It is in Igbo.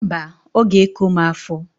Mbaǃ Ọ g'eko m afọ.